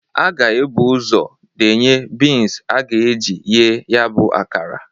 A ga-ebu ụzọ denye bins a ga-eji ghee ya bụ akara.